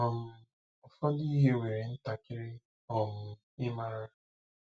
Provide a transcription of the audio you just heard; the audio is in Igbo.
um Ụfọdụ ihe were ntakịrị um ịmara!